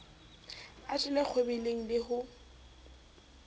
a jelle kgwebeleng le ho